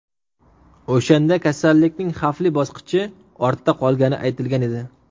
O‘shanda kasallikning xavfli bosqichi ortda qolgani aytilgan edi.